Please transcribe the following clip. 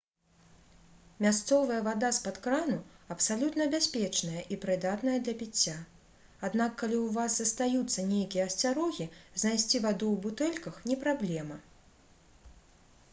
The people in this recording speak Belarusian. мясцовая вада з-пад крану абсалютна бяспечная і прыдатная для піцця аднак калі ў вас застаюцца нейкія асцярогі знайсці ваду ў бутэльках не праблема